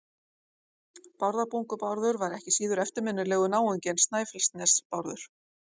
Bárðarbungu-Bárður var ekki síður eftirminnilegur náungi en Snæfellsnes-Bárður.